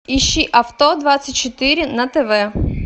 ищи авто двадцать четыре на тв